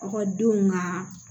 Ekɔlidenw ka